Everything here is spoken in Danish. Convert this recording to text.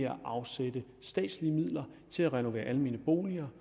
afsætte statslige midler til at renovere almene boliger